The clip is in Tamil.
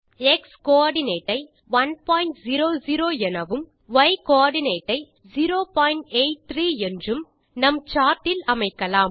எக்ஸ் கோஆர்டினேட் ஐ 100 எனவும் மற்றும் ய் கோஆர்டினேட் ஐ 083 என்றும் நம் சார்ட் இல் அமைக்கலாம்